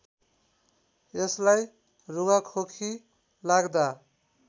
यसलाई रुघाखोकी लाग्दा